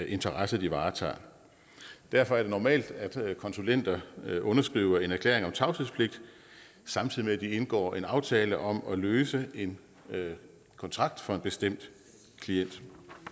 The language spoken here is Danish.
interesser de varetager derfor er det normalt at konsulenter underskriver en erklæring om tavshedspligt samtidig med at de indgår en aftale om at løse en kontrakt for en bestemt klient